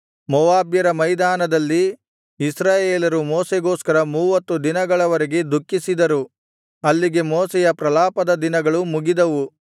ಮೋವಾಬ್ಯರ ಮೈದಾನದಲ್ಲಿ ಇಸ್ರಾಯೇಲರು ಮೋಶೆಗೋಸ್ಕರ ಮೂವತ್ತು ದಿನಗಳ ವರೆಗೆ ದುಃಖಿಸಿದರು ಅಲ್ಲಿಗೆ ಮೋಶೆಯ ಪ್ರಲಾಪದ ದಿನಗಳು ಮುಗಿದವು